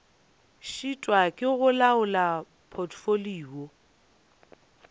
šitwa ke go laola potfolio